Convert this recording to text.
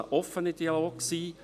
Es soll ein offener Dialog sein.